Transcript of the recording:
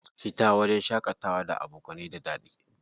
Fita wajajen shaƙatawa da abokanai da daɗi.